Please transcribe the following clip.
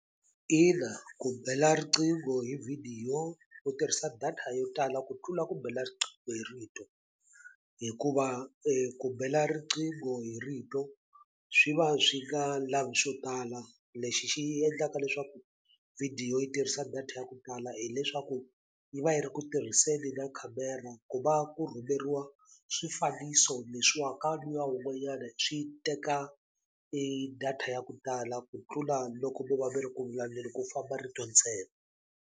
Ina ku bela riqingho hi vhidiyo u tirhisa data yo tala ku tlula ku bela riqingho hi rito hikuva ku bela riqingho hi rito swi va swi nga lavi swo tala lexi xi endlaka leswaku vhidiyo yi tirhisa data ya ku tala hileswaku yi va yi ri ku tirhiseni na khamera ku va ku rhumeriwa swifaniso leswiwa ka luya wun'wanyana swi teka e data ya ku tala ku tlula loko mo va mi ri ku vulavuleni ku famba rito ntsena.